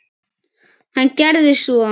Hann gerði svo.